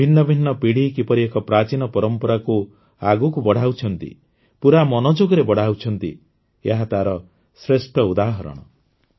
ଭିନ୍ନ ଭିନ୍ନ ପିଢ଼ି କିପରି ଏକ ପ୍ରାଚୀନ ପରମ୍ପରାକୁ ଆଗକୁ ବଢ଼ାଉଛନ୍ତି ପୂରା ମନୋଯୋଗରେ ବଢ଼ାଉଛନ୍ତି ଏହା ତାର ଶ୍ରେଷ୍ଠ ଉଦାହରଣ